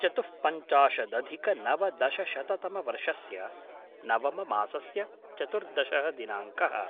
चतुःपञ्चाशदधिकनवदशशततमवर्षस्य नवममासस्य चतुर्दशः दिनाङ्कः